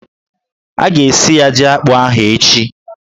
A ga-esi ya jí akpụ ahụ echi